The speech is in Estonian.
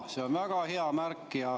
See on väga hea märk.